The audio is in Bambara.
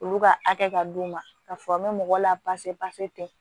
Olu ka hakɛ ka d'u ma k'a fɔ an bɛ mɔgɔ la tɛ